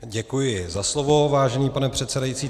Děkuji za slovo, vážený pane předsedající.